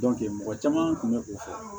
mɔgɔ caman kun bɛ o fɛ